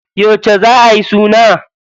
Yauce za ayi suna?